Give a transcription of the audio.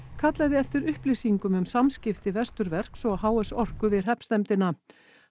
kallaði eftir upplýsingum um samskipti Vesturverks og h s Orku við hreppsnefndina